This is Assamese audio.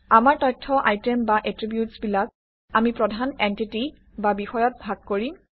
আমাৰ তথ্য আইটেম বা এট্ৰিবিউটছবিলাক আমি প্ৰধান এনটিটি বা বিষয়ত ভাগ কৰিম